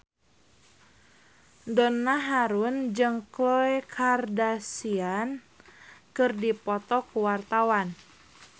Donna Harun jeung Khloe Kardashian keur dipoto ku wartawan